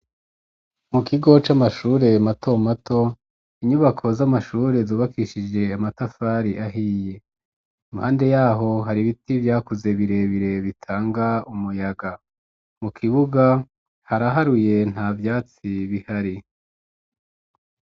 Mu kigo c'amashure matomato , inyubako z'amashure zubakishije amatafari ahiye. Imapnde yaho hati ibiti vyakuze birebire bitanga umuyaga. Mu kibuga , haraharuye nta vyatsi bihari.